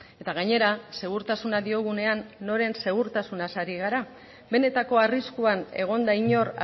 eta gainera segurtasuna diogunean noren segurtasunaz ari gara benetako arriskuan egon da inor